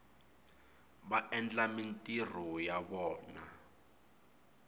va endla mintirho ya vona